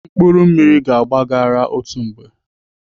Mkpụrụ mmiri ga-agba gị ara otu mgbe.